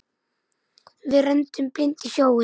Við renndum blint í sjóinn.